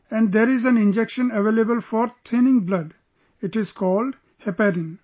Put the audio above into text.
And there's an injection available for thinning blood...it is called Heparin